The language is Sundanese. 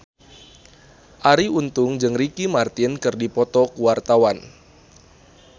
Arie Untung jeung Ricky Martin keur dipoto ku wartawan